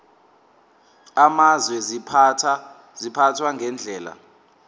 amazwe ziphathwa ngendlela